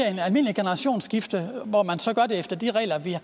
almindeligt generationsskifte hvor man så gør det efter de regler vi har